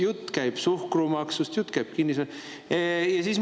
Veel käib jutt suhkrumaksust, kinnisvaramaksust.